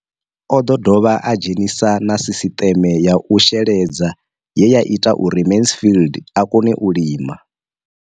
O ḓo dovha a dzhenisa na sisiṱeme ya u sheledza ye ya ita uri Mansfied a kone u lima.